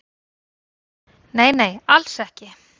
"""Nei, nei, alls ekki."""